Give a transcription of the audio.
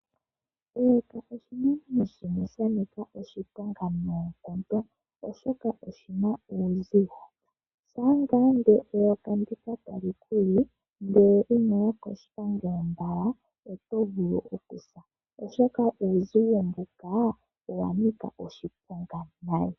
Eyoka oshinamwenyo shimwe shanika oshiponga nonkondo oshoka oshina uuzigo, shapa eyoka ndika otalikuli ndele inoya koshipangelo mbala oto vulu okusa oshoka uuzigo mbuka owa nika oshiponga nayi.